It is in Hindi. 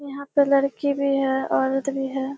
यहाँ पे लड़की भी है औरत भी है।